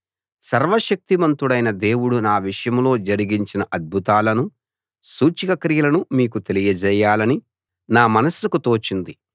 సర్వశక్తిమంతుడైన దేవుడు నా విషయంలో జరిగించిన అద్భుతాలను సూచక క్రియలను మీకు తెలియజేయాలని నా మనస్సుకు తోచింది